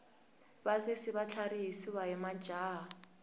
vasesi va tlharihisiwa hi majaha